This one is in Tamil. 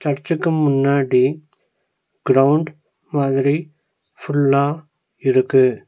சர்ச்சுக்கு முன்னாடி கிரவுண்ட் மாதிரி ஃபுல்லா இருக்கு.